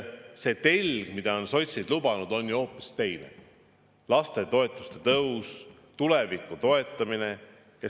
See telg, mida sotsid on lubanud, on ju hoopis teine – lastetoetuste tõus, tuleviku toetamine.